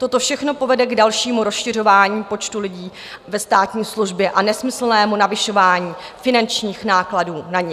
Toto všechno povede k dalšímu rozšiřování počtu lidí ve státní službě a nesmyslnému navyšování finančních nákladů na ni.